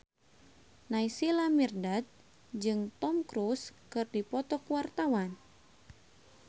Naysila Mirdad jeung Tom Cruise keur dipoto ku wartawan